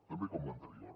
també com l’anterior